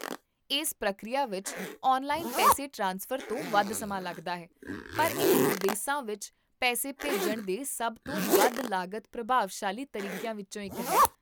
ਇਸ ਪ੍ਰਕਿਰਿਆ ਵਿੱਚ ਔਨਲਾਈਨ ਪੈਸੇ ਟ੍ਰਾਂਸਫਰ ਤੋਂ ਵੱਧ ਸਮਾਂ ਲੱਗਦਾ ਹੈ, ਪਰ ਇਹ ਵਿਦੇਸਾਂ ਵਿੱਚ ਪੈਸੇ ਭੇਜਣ ਦੇ ਸਭ ਤੋਂ ਵੱਧ ਲਾਗਤ ਪ੍ਰਭਾਵਸ਼ਾਲੀ ਤਰੀਕਿਆਂ ਵਿੱਚੋਂ ਇੱਕ ਹੈ